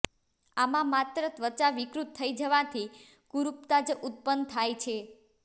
આમાં માત્ર ત્વચા વિકૃત થઈ જવાથી કુરૂપતા જ ઉત્પન્ન થાય છે